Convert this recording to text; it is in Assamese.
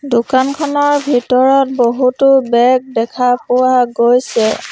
দোকানখনৰ ভিতৰত বহুতো বেগ দেখা পোৱা গৈছে।